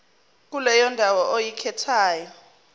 kuleyo ndawo oyikhethayo